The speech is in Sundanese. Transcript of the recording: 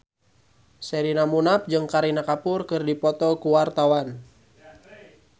Sherina Munaf jeung Kareena Kapoor keur dipoto ku wartawan